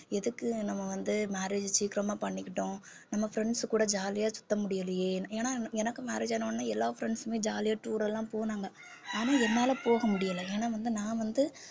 எதுக்கு நம்ம வந்து marriage சீக்கிரமா பண்ணிக்கிட்டோம் நம்ம friends கூட jolly யா சுத்த முடியலயேன்னு ஏன்னா எனக்கு marriage ஆன உடனே எல்லா friends உமே jolly யா tour எல்லாம் போனாங்க ஆனா என்னால போக முடியல ஏன்னா வந்து நான் வந்து